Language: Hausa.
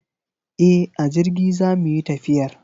E, a jirgi zamu yi tafiyar.